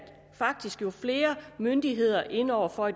faktisk er flere myndigheder inde over for at